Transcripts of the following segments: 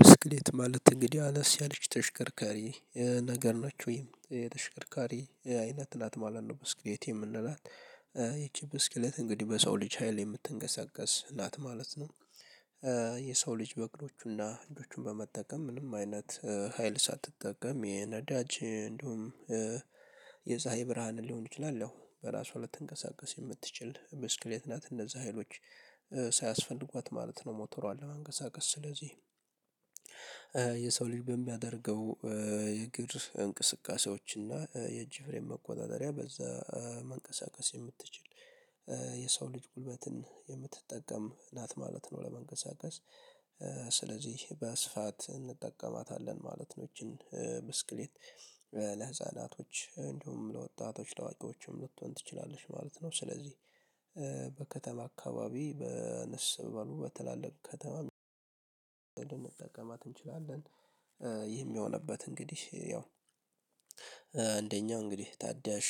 ብስክሌት ማለት እንግዲህ አነስ ያለች ተሽከርካሪ ነገር ነች ወይም ተሽከርካሪ አይነት ናት ማለት ነው ብስክሌት የምንላት። ይቺ ብስክሌት እንግዲህ በሰው ልጅ ሀይል የምትንቀሳቀስ ናት ማለት ነው። የሰው ልጅ በእግሮቹና በእጆቹን በመጠቀም ምንም አይነት ሀይል ሳትጠቀም የነዳጅ እንዲሁም የፀሀይ ብርሃንን ሊሆን ይችላል በራሱ ልትንቀሳቀስ የምትችል ብስክሌት ናት እነዚ ሀይሎች ሳያስፈልጓት ማለት ነው ሞተሯን ለመንቀሳቀስ ስለዚህ። የሰው ልጅ በሚያደርገው የእግር እንቅስቃሴዎች እና የእጅ መቆጣጠሪያ በዛ መንቀሳቀስ የምትችል የሰው ልጅ ጉልበትን የምትጠቀም ናት ማለት ነው። ለመንቀሳቀስ ስለዚህ በስፋት እንጠቀማታለን ማለት ነው። ይቺን ብስክሌት ለህፃናቶች እንዲሁም ለወጣቶች ለአዋቂዎችም ልትሆን ትችላለሽ ማለት ነው። ስለዚህ በከተማ አካባቢ በአነስ ባሉ በትላልቅ ከተማ እንጠቀማት እንችላለን። ይህም የሆነበት እንግዲህ ያው አንደኛው እንግዲህ ታዳሽ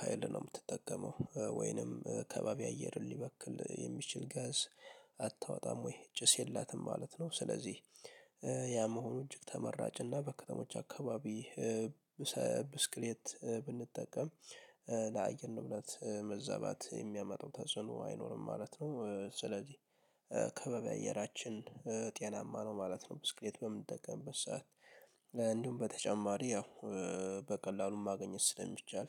ሀይል ነው የምትጠቀመው ወይንም ከባቢ አየርን ሊበክል የሚችል ጋዝ አታወጣም ወይ ጭስ የላትም ማለት ነው። ስለዚህ ያ መሆኑ እጅግ ተመራጭና በከተሞች አካባቢ ብስክሌት ብንጠቀም ለአየር ንብረት መዘባት የሚያመጣው ተጽዕኖ አይኖርም ማለት ነው። ስለዚህ ከባቢ አየራችን ጤናማ ነው ማለት ነው። ብስክሌት በምንጠቀምበት ሰዓት እንደውም በተጨማሪ ያው በቀላሉም ማግኘት ስለሚቻል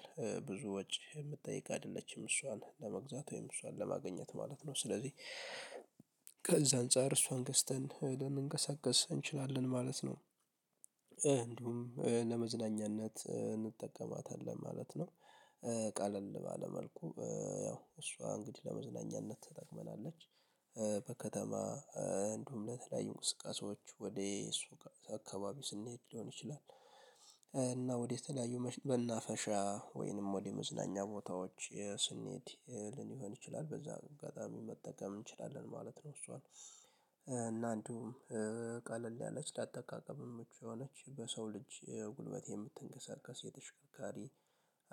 ብዙ ወጪ የምትጠይቅ አይደለችም እሷን ለመግዛት ወይም እሷን ለማግኘት ማለት ነው። ስለዚህ ከዛ አንፃር እሷን ገዝተን ልንንቀሳቀስ እንችላለን ማለት ነው። ለመዝናኛነት እንጠቀማታለን ማለት ነው። ቀለል ባለ መልኩ ያው እሷ እንግዲህ ለመዝናኛነት ትጠቅመናለች በከተማ እንዲሁም ለተለያዩ እንቅስቃሴዎች ወደ እሱ አካባቢ ስንሄድ ሊሆን ይችላል። እና ወደ ተለያዩ መናፈሻ ወይንም ወደ መዝናኛ ቦታዎች ስንሄድ ሊሆን ይችላል በዛ አጋጣሚ መጠቀም እንችላለን ማለት ነው። እሷን እና እንዲሁም ቀለል ያለች ላጠቃቀምም ምቹ የሆነች በሰው ልጅ ጉልበት የምትንቀሳቀስ የተሽከርካሪ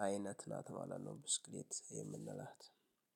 አይነት ናት ማለት ነው። ብስክሌት የምንላት